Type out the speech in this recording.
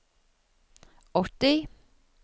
åtti